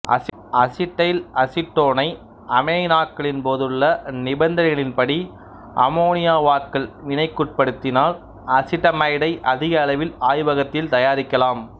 acetyl அசிட்டோனை அமைனாக்கலின் போதுள்ள நிபந்தனைகளின்படி அம்மோனியாவாக்கல் வினைக்குட்படுத்தினால் அசிட்டமைடை அதிக அளவில் ஆய்வகத்தில் தயாரிக்கலாம்